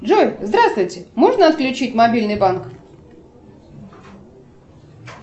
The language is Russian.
джой здравствуйте можно отключить мобильный банк